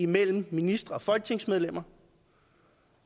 mellem ministre og folketingsmedlemmer